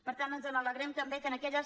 per tant ens alegrem també que en aquelles